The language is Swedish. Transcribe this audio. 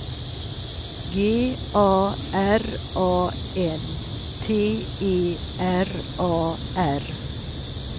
G A R A N T E R A R